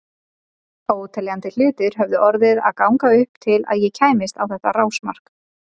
Óteljandi hlutir höfðu orðið að ganga upp til að ég kæmist á þetta rásmark.